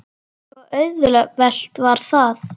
Svo auðvelt var það.